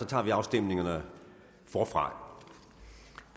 tager vi afstemningerne forfra